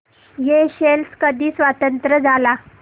Seychelles कधी स्वतंत्र झाला